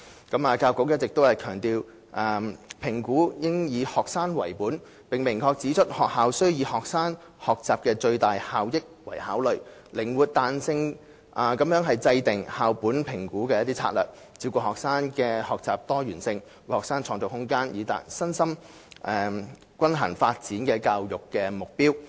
教育局一直強調評估應以學生為本，並明確指出學校須以學生學習的最大效益為考慮，靈活彈性地制訂校本評估策略，照顧學生的學習多元性，為學生創造空間，以達致身心均衡發展的教育目標。